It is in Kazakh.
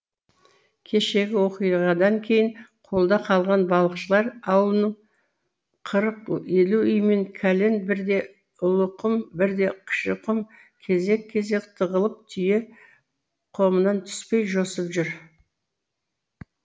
кешегі оқиғадан кейін қолда қалған балықшылар аулының қырық елу үйімен кәлен бірде ұлықұм бірде кішіқұм кезек кезек тығылып түйе қомынан түспей жосып жүр